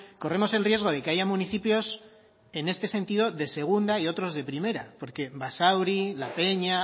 corremos el riesgo de que haya municipios en este sentido de segunda y otros de primera porque basauri la peña